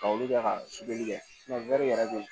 Ka olu kɛ ka supili kɛ yɛrɛ bɛ yen